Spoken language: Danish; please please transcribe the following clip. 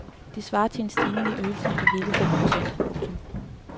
Det svarer til en stigning i ydelsen på hele fem procent. punktum